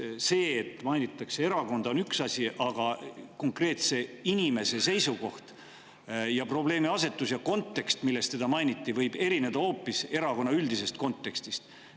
See, et mainitakse erakonda, on üks asi, aga konkreetse inimese seisukoht ja probleemiasetus ja kontekst, milles teda mainiti, võib hoopis erineda üldisest erakonnaga kontekstist.